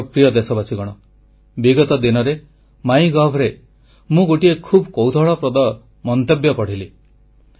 ମୋର ପ୍ରିୟ ଦେଶବାସୀଗଣ ବିଗତ ଦିନରେ ମାଇ ଗଭରେ ମୁଁ ଗୋଟିଏ ଖୁବ କୌତୁହଳପ୍ରଦ ମନ୍ତବ୍ୟ ପଢ଼ିଲି